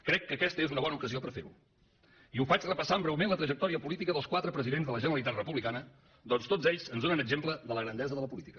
crec que aquesta és una bona ocasió per a fer ho i ho faig repassant breument la trajectòria política dels quatre presidents de la generalitat republicana atès que tots ells ens donen exemple de la grandesa de la política